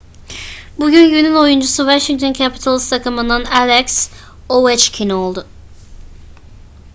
bugün günün oyuncusu washington capitals takımından alex ovechkin oldu